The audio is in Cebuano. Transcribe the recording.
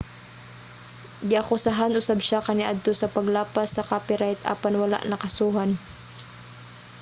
giakusahan usab siya kaniadto sa paglapas sa copyright apan wala nakasuhan